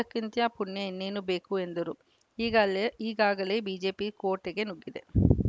ಇದಕ್ಕಿಂತ ಪುಣ್ಯ ಇನ್ನೇನು ಬೇಕು ಎಂದರು ಈಗಾಲೇ ಈಗಾಗಲೇ ಬಿಜೆಪಿ ಕೋಟೆಗೆ ನುಗ್ಗಿದೆ